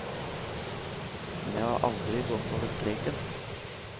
Men jeg har aldri gått over streken.